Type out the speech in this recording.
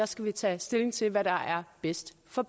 skal vi tage stilling til hvad der er bedst for